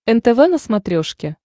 нтв на смотрешке